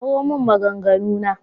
Kawo min maganganu na.